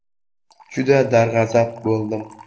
Juda darg‘azab bo‘ldim.